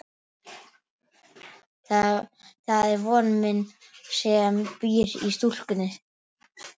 Það er von mín sem býr í stúlkunni.